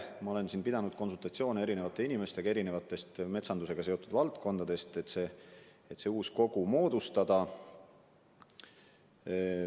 Ma olen pidanud konsultatsioone eri inimestega metsandusega seotud eri valdkondadest, et see uus kogu moodustada.